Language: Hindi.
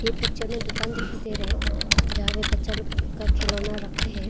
इस पिक्चर में दुकान दिखाई दे रहा है जहां पे बच्चा लोग का खिलौना रख के है।